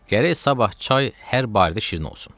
Gərək sabah çay hər barı da şirin olsun.